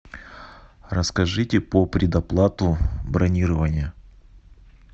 расскажите по предоплату бронирования